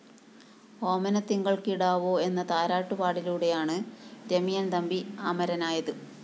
ഓമനത്തിങ്കള്‍ കിടാവോ എന്ന താരാട്ടുപാടിലൂടെയാണ് ഇരയിമ്മന്‍ തമ്പി അമരനായത്